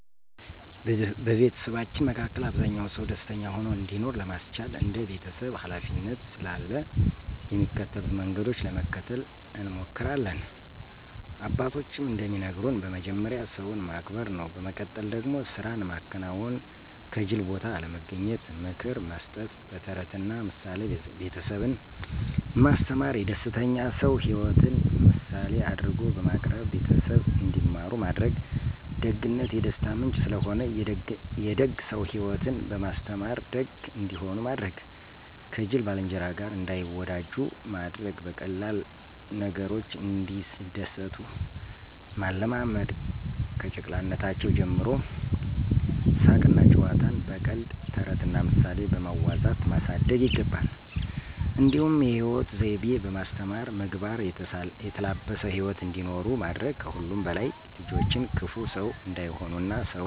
በቤተሰባችን መሀከ አብዛኛ ሰው ደስተኛ ሆኖ እንዲኖር ለማስቻል እንደ ቤተሰብ ሀላፊነት ስላለ የሚከተሉትን መንገዶች ለመከተል እንሞክሪለን፦ አባቶችም እንደሚነግሩን በመጀመሪያ ሰውን ማክበር ነው፤ በመቀጠል ደግሞ ስራን ማከናወን፥ ከጂል ቦታ አለመገኘት፣ ምክር መስጠት፣ በተረትና ምሳሌ ቤተሰብን ማስተማር፣ የደስተኛ ሰው ሂወትን ምሳሌ አድርጎ በማቅረብ ቤተሰብ እንዲማሩ ማድረግ፣ ደግነት የደስታ ምንጭ ስለሆነ፥ የደግ ሰው ሂወትን በማስተማር ደግ እንዲሆኑ ማድረግ፥ ከጂል ባልንጀራ ጋር እንዳይወጃጁ ማድረግ፣ በቀላል ነገሮች እንዲደሰቱ ማለማመድ፣ ከጨቅላነታቸው ጀምሮ ሳቅና ጨዋታን በቀልድ፥ ተረትና ምሳሌ በማዋዛት ማሳደግ ይገባ። እንዲሁም የሂወት ዘይቤ በማስተማር ምግባር የተላበሰ ሂወት እንዲኖሩ ማድረግ ከሁሉም በላይ ልጆችን ክፉ ሰው እንዳይሆኑና ሰውን እንዳይበድሉ ማስተማር ተገቢ ነው።